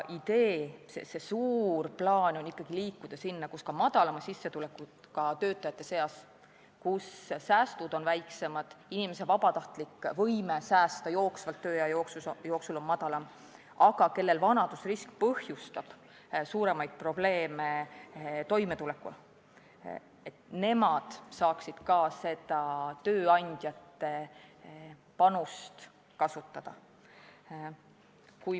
Idee, suur plaan on ikkagi liikuda sinnapoole, et ka madalama sissetulekuga töötajad, kelle säästud on väiksemad ja kelle vabatahtlik võime säästa jooksvalt tööea jooksul on madalam, aga kellel vanadusrisk põhjustab suuremaid probleeme toimetulekuga, saaksid seda tööandjate panust kasutada.